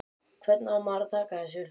Hvernig á maður að taka þessu?